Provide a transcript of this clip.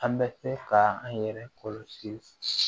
An bɛ se ka an yɛrɛ kɔlɔsi